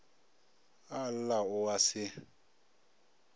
a lla o a se